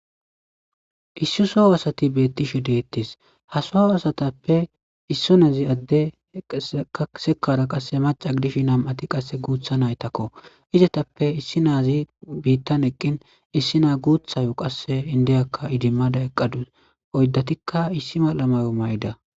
issi soho asati beettishe deettis hasoho asatappe issu naazi adde kasekara qasse maca dish nam7ati qasse guutha naytakko izetappe issi naazi biittan eqqin issi naa guuthayo qasse indeyakka idimmada eqqadus oyddatikka issi malamayo may7da